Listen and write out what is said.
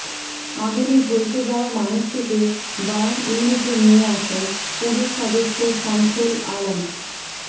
আগুনে ঝলসে যাওয়া মানুষটিকে বার্ন ইউনিটে নিয়ে আসেন পুলিশ সদস্য শামসুল আলম